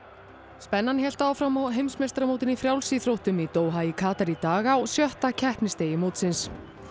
spennan hélt áfram á heimsmeistaramótinu í frjálsíþróttum í Doha í Katar í dag á sjötta keppnisdegi mótsins